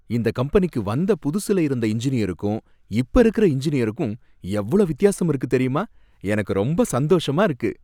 இந்த கம்பெனிக்கு வந்த புதுசுல இருந்த இன்ஜினியருக்கும் இப்ப இருக்குற இன்ஜினியருக்கும் எவ்ளோ வித்தியாசம் இருக்கு தெரியுமா, எனக்கு ரொம்ப சந்தோஷமா இருக்கு